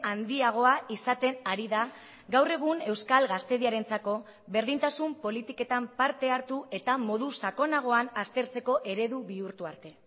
handiagoa izaten ari da gaur egun euskal gazteriarentzako berdintasun politiketan parte hartu eta modu sakonagoan aztertzeko eredu bihurtu arte